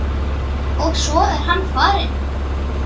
Og svo er hann farinn.